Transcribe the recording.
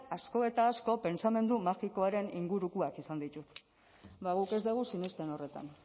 asko eta asko pentsamendu magikoaren ingurukoak izan ditut ba guk ez dugu sinesten horretan